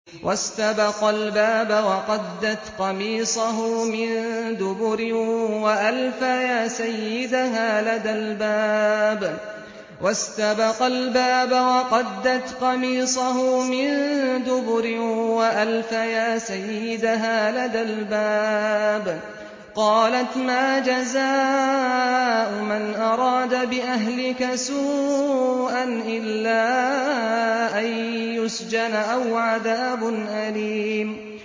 وَاسْتَبَقَا الْبَابَ وَقَدَّتْ قَمِيصَهُ مِن دُبُرٍ وَأَلْفَيَا سَيِّدَهَا لَدَى الْبَابِ ۚ قَالَتْ مَا جَزَاءُ مَنْ أَرَادَ بِأَهْلِكَ سُوءًا إِلَّا أَن يُسْجَنَ أَوْ عَذَابٌ أَلِيمٌ